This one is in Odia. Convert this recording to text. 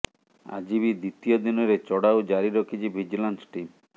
ଆଜି ବି ଦ୍ୱିତୀୟ ଦିନରେ ଚଢ଼ାଉ ଜାରି ରଖିଛି ଭିଡଜିଲାନ୍ସ ଟିମ୍